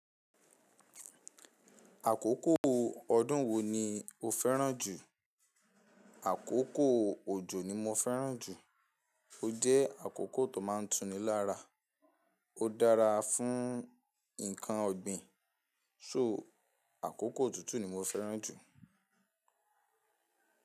Àkókò ọdún wo ni o fẹ́ràn jù? Àkókò òjò ni mo fẹ́ràn jù. Ó jẹ́ àkókò tó máa ń tuni lára, ó dára fún nǹkan ọ̀gbìn. So àkókò tutù ni mo fẹ́ràn jù.